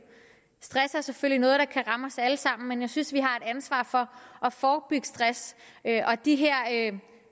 stress er selvfølgelig noget der kan ramme os alle sammen men jeg synes vi har et ansvar for at forebygge stress og de her